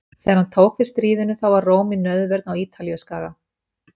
Þegar hann tók við stríðinu þá var Róm í nauðvörn á Ítalíuskaga.